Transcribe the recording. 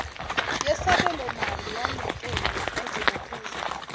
yesabelomali yanyakenye ngazibophezela